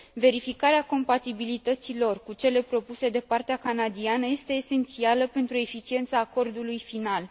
Verificarea compatibilității lor cu cele propuse de partea canadiană este esențială pentru eficiența acordului final.